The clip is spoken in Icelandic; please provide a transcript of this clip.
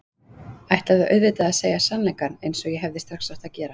Ætlaði auðvitað að segja sannleikann eins og ég hefði strax átt að gera.